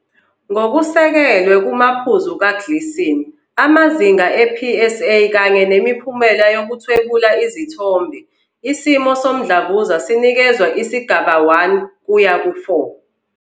Ngokusekelwe kumaphuzu kaGleason, amazinga e-PSA, kanye nemiphumela yokuthwebula izithombe, isimo somdlavuza sinikezwa isigaba 1 kuya ku-4.